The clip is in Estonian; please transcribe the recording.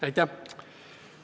Aitäh!